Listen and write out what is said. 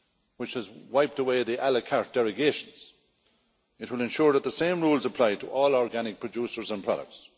which has wiped away the la carte derogations it will ensure that the same rules apply to all organic producers and products.